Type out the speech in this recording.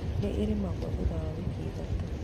Nĩ irĩmagĩrwo thutha wa wiki ithatũ.